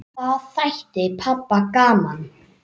Það þætti pabba gaman.